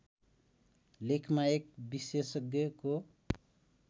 लेखमा एक विषेशज्ञको